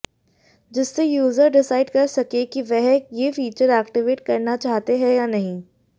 जिससे user decide कर सकें कि वह ये फीचर एक्टिवेट करना चाहते हैं या नहीं